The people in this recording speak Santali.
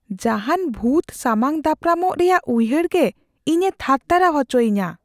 ᱡᱟᱦᱟᱱ ᱵᱷᱩᱛ ᱥᱟᱢᱟᱝ ᱫᱟᱯᱨᱟᱢᱚᱜ ᱨᱮᱭᱟᱜ ᱩᱭᱦᱟᱹᱨᱜᱮ ᱤᱧᱮ ᱛᱷᱟᱨᱛᱷᱟᱨᱟᱣ ᱟᱪᱚᱭᱤᱧᱟ ᱾